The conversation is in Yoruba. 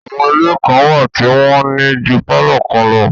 Àwọn ilé kan wà tí wọ́n ní ju pálọ̀ kan lọ